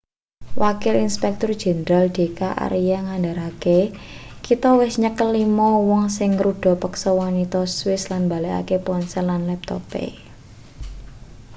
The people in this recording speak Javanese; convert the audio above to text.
wakil inspektur jenderal d k arya ngandharake kita wis nyekel lima wong sing ngruda peksa wanita swiss lan mbalekake ponsel lan laptope